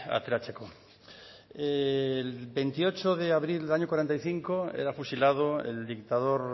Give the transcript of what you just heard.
ateratzeko el veintiocho de abril del año cuarenta y cinco era fusilado el dictador